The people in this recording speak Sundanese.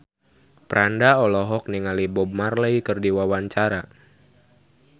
Franda olohok ningali Bob Marley keur diwawancara